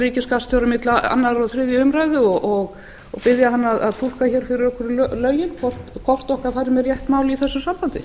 ríkisskattstjóra milli annars og þriðju umræðu og biðja hann að túlka fyrir okkur lögin hvort okkar fari með rétt mál í þessu sambandi